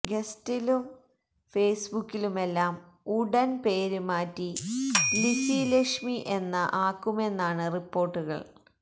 ഗസ്റ്റിലും ഫേസ്ബുക്കിലുമെല്ലാം ഉടന് പേര് മാറ്റി ലിസി ലക്ഷ്മി എന്ന ആക്കുമെന്നാണ് റിപ്പോര്ട്ടുകള്